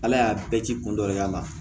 Ala y'a bɛɛ ci kun dɔ y'a la